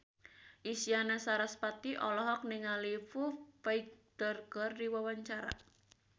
Isyana Sarasvati olohok ningali Foo Fighter keur diwawancara